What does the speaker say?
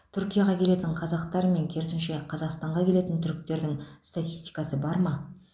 түркияға келетін қазақтар мен керісінше қазақстанға келетін түріктердің статистикасы бар ма